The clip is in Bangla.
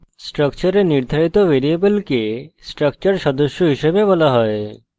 স্ট্রাকচারে নির্ধারিত ভ্যারিয়েবলকে স্ট্রাকচার সদস্য হিসেবে বলা হয়